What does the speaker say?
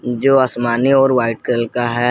जो आसमानी और व्हाइट कलर का है।